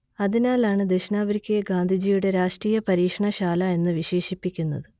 അതിനാലാണ് ദക്ഷിണാഫ്രിക്കയെ ഗാന്ധിജിയുടെ രാഷ്ട്രീയ പരീക്ഷണ ശാല എന്നു വിശേഷിപ്പിക്കുന്നത്